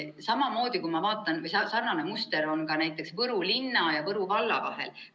Samamoodi on sarnane muster ka näiteks Võru linna ja Võru valla vahel.